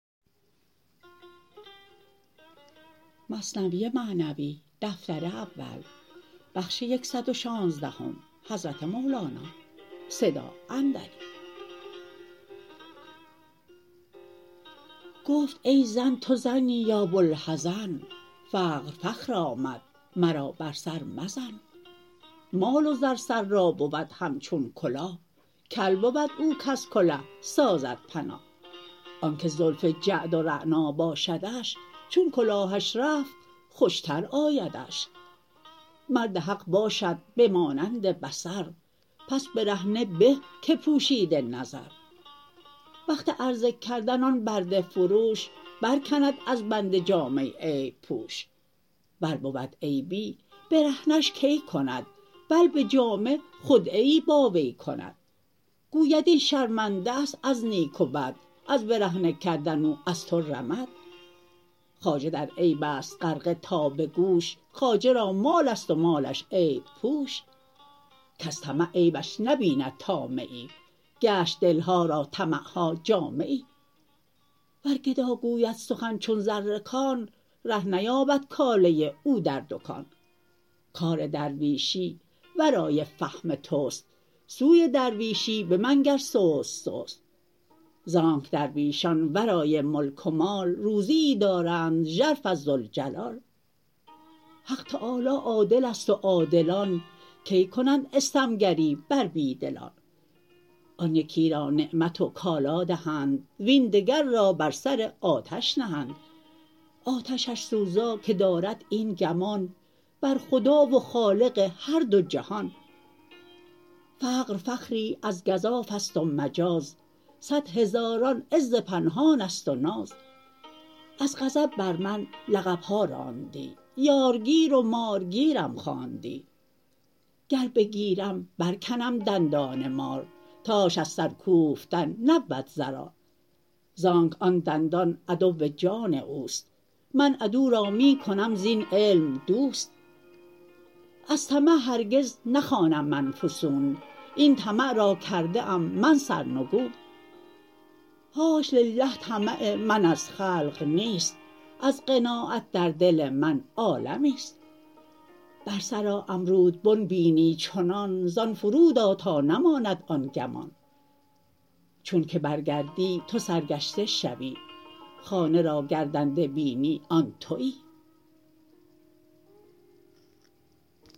گفت ای زن تو زنی یا بوالحزن فقر فخر آمد مرا بر سر مزن مال و زر سر را بود همچون کلاه کل بود او کز کله سازد پناه آنک زلف جعد و رعنا باشدش چون کلاهش رفت خوشتر آیدش مرد حق باشد بمانند بصر پس برهنه به که پوشیده نظر وقت عرضه کردن آن برده فروش بر کند از بنده جامه عیب پوش ور بود عیبی برهنه ش کی کند بل بجامه خدعه ای با وی کند گوید این شرمنده است از نیک و بد از برهنه کردن او از تو رمد خواجه در عیبست غرقه تا به گوش خواجه را مالست و مالش عیب پوش کز طمع عیبش نبیند طامعی گشت دلها را طمعها جامعی ور گدا گوید سخن چون زر کان ره نیابد کاله او در دکان کار درویشی ورای فهم تست سوی درویشی بمنگر سست سست زانک درویشان ورای ملک و مال روزیی دارند ژرف از ذوالجلال حق تعالی عادلست و عادلان کی کنند استم گری بر بی دلان آن یکی را نعمت و کالا دهند وین دگر را بر سر آتش نهند آتشش سوزا که دارد این گمان بر خدا و خالق هر دو جهان فقر فخری از گزافست و مجاز نه هزاران عز پنهانست و ناز از غضب بر من لقبها راندی یارگیر و مارگیرم خواندی گر بگیرم برکنم دندان مار تاش از سر کوفتن نبود ضرار زانک آن دندان عدو جان اوست من عدو را می کنم زین علم دوست از طمع هرگز نخوانم من فسون این طمع را کرده ام من سرنگون حاش لله طمع من از خلق نیست از قناعت در دل من عالمیست بر سر امرودبن بینی چنان زان فرودآ تا نماند آن گمان چون که بر گردی تو سرگشته شوی خانه را گردنده بینی و آن توی